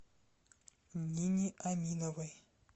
нине аминовой